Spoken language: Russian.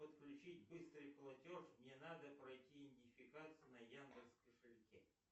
подключить быстрый платеж мне надо пройти идентификацию на яндекс кошельке